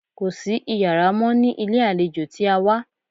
Kò sí iyàrá mọ́ ní ilé àlejò tí a wá.